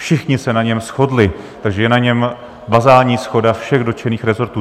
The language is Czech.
Všichni se na něm shodli, takže je na něm bazální shoda všech dotčených resortů.